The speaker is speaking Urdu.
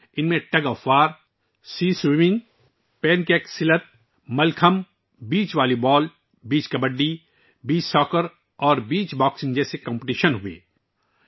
ان مقابلوں میں رسا کشی، سمندری تیراکی، pencak silat, mallakhamb, beach volleyball, beach kabaddi, beach football اور بیچ باکسنگ جیسے مقابلے شامل تھے